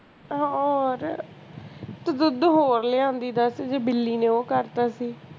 ਯਾਰ ਤੂੰ ਦੁੱਧ ਹੋਰ ਲੈ ਆਂਦੀ ਦਸ ਜੇ ਬਿੱਲੀ ਨੇ ਓਹ ਕਰਤਾ ਸੀ